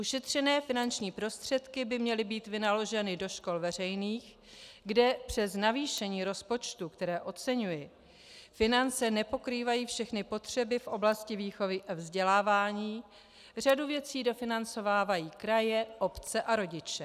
Ušetřené finanční prostředky by měly být vynaloženy do škol veřejných, kde přes navýšení rozpočtu, které oceňuji, finance nepokrývají všechny potřeby v oblasti výchovy a vzdělávání, řadu věcí dofinancovávají kraje, obce a rodiče.